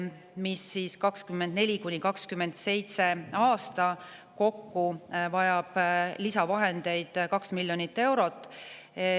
Aastatel 2024–2027 vajame selleks lisavahendeid kokku 2 miljonit eurot.